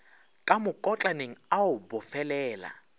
ka mokotlaneng a o bofelela